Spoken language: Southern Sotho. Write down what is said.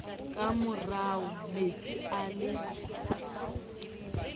ka moro metsi a le